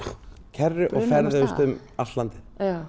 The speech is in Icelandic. kerru og ferðuðumst um allt landið